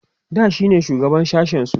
da shine shugaban sashen su